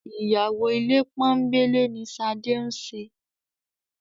Ìyàwó ilé pọ́nńbélé ni Ṣadé ń ṣe